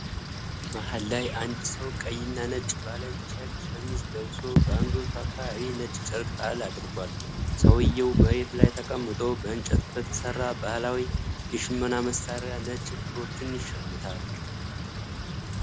መሃል ላይ አንድ ሰው ቀይና ነጭ ባለ ቼክ ሸሚዝ ለብሶ በአንገቱ አካባቢ ነጭ ጨርቅ ጣል አድርጓል። ሰውዬው መሬት ላይ ተቀምጦ በእንጨት በተሰራ ባህላዊ የሽመና መሣሪያ ነጭ ክሮችን ይሸምታል።